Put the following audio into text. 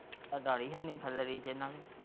ਡਰ ਹੀ ਹੈ ਨਹੀਂ ਹਨ ਨੂੰ।